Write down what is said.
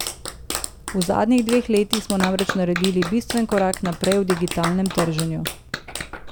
V zadnjih dveh letih smo namreč naredili bistven korak naprej v digitalnem trženju.